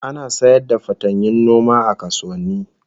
Ana sayar da fatanyun noma a kasuwanni